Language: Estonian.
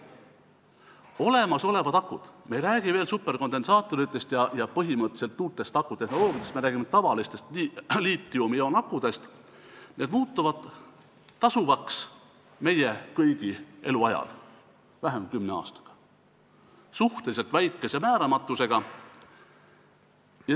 Olemasolevad akud – me ei räägi veel superkondensaatoritest ja põhimõtteliselt uutest akutehnoloogiatest, me räägime tavalistest liitiumioonakudest – muutuvad tasuvaks meie kõigi eluajal, vähem kui kümne aastaga, suhteliselt väikese määramatusega.